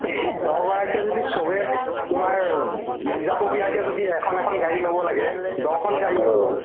দহগৰাকীয়ে যদি চবে তোমাৰ উব নিজাববীয়াকে যদি এখন এখন গাড়ী ল'ব লাগে দহখন গাড়ী হ'ব